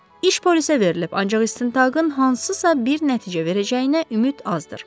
İş polisə verilib, ancaq istintaqın hansısa bir nəticə verəcəyinə ümid azdır.